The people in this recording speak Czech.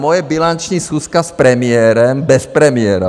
Moje bilanční schůzka s premiérem bez premiéra.